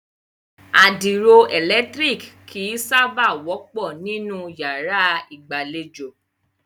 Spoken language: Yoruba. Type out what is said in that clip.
Àdìro ẹ̀lẹ̀tírìkì kìí sábà wọ́pọ̀ nínú yàrá ìgbàlejò.